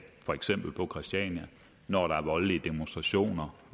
for eksempel på christiania når der er voldelige demonstrationer